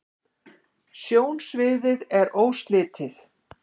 sjónsviðið er óslitið